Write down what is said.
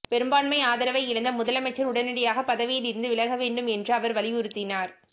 பெரும்பான்மை ஆதரவை இழந்த முதலமைச்சர் உடனடியாக பதவியிலிருந்து விலகவேண்டும் என்றும் அவர் வலியுறுத்தினார்